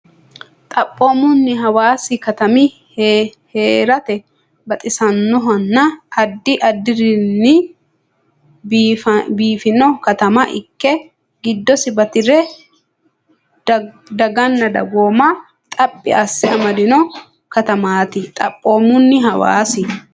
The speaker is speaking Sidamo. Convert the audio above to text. Xaphoomunni Hawaasi katami hee rate baxisannohonna addi addirinni biifino katama ikke giddosi bati ra daganna dagooma xaphi asse amadino katamaati Xaphoomunni Hawaasi.